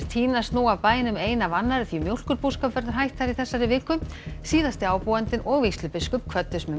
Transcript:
tínast nú af bænum ein af annarri því mjólkurbúskap verður hætt þar í þessari viku síðasti ábúandinn og vígslubiskup kvöddust með